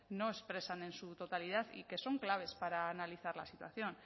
no expresan en su totalidad y que son claves para analizar la situación